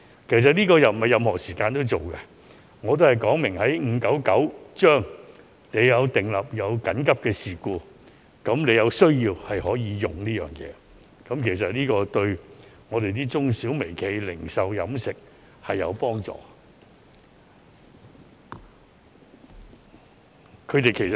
這個方案並非任何時間也適用，只有在根據《預防及控制疾病條例》下出現的緊急事故時才可使用，但對於中小微企、零售、飲食業等絕對有幫助。